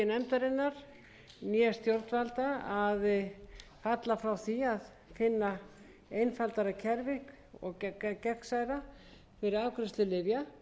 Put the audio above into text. nefndarinnar né stjórnvalda að falla frá því að finna einfaldara og gegnsærra kerfi fyrir afgreiðslu lyfja